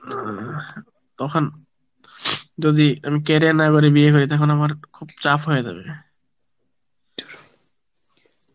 তখন যদি আমি career না গড়ে বিয়ে করি তখন আমার খুব ছাপ হয়ে যাবে